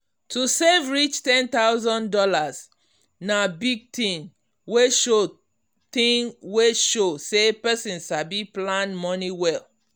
to save reach ten Thousand Dollars na big thing wey show thing wey show say person sabi plan money well.